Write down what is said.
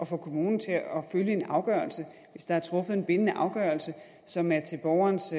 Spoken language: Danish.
få kommunen til at følge en afgørelse hvis der er truffet en bindende afgørelse som er til borgerens